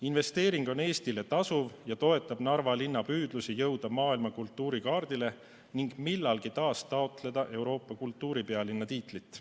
Investeering on Eestile tasuv ja toetab Narva linna püüdlusi jõuda maailma kultuurikaardile ning millalgi taas taotleda Euroopa kultuuripealinna tiitlit.